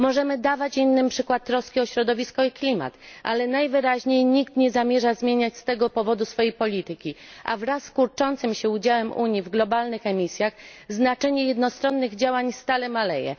Możemy dawać innym przykład troski o środowisko i klimat, ale najwyraźniej nikt nie zamierza zmieniać z tego powodu swojej polityki, a wraz z kurczącym się udziałem Unii w globalnych emisjach, znaczenie jednostronnych działań stale maleje.